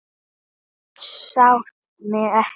Þú sást mig ekki.